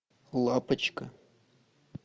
лапочка